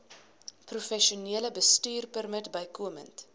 professionele bestuurpermit bykomend